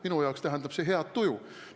Minu arvates tähendab see head tuju.